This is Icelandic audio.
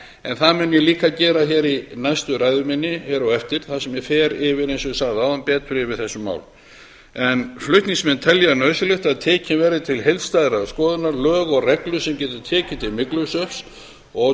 en það mun ég líka gera hér í næstu ræðu minni hér á eftir þar sem ég fer eins og ég sagði áðan betur yfir þessi mál flutningsmenn telja nauðsynlegt að tekin verði til heildstæðrar skoðunar lög og reglur sem geta tekið til myglusveppa og